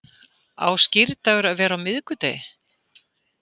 Á skírdagur að vera á miðvikudegi